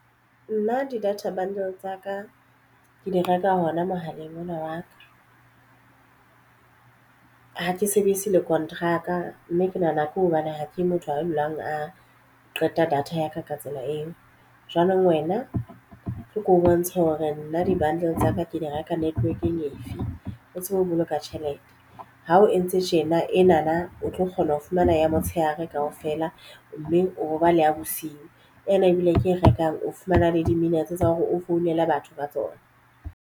Nna di-data bundle tsa ka ke di reka hona mohaleng ona wa ka. Ha ke sebedise le konteraka mme ke nahana ke hobane ha ke motho a dulang a qeta data ya ka ka tsela eo jwanong wena tlo ko bontshe hore nna di bundle tsa ka ke di reka network-eng efe o tsebe ho boloka tjhelete. Ha o entse tjena ena na o tlo kgona ho fumana ya motshehare kaofela mme o bo ba le ya bosiu ena ebile ke e rekang o fumana le di-minutes tsa hore o founele batho ba tsona.